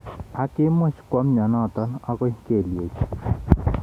Ak kimuch kwo mnyenotok akoi kelyek chik.